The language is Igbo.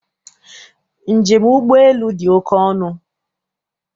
Njem ụgbọelu dị oke ọnụ.